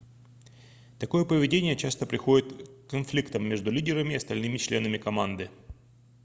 такое поведение часто приводит к конфликтам между лидерами и остальными членами команды